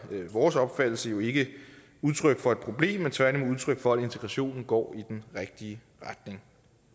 vores opfattelse jo ikke udtryk for et problem men tværtimod udtryk for at integrationen går i den rigtige retning